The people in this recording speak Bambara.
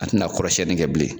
A te na kɔrɔ siɲɛli kɛ bilen.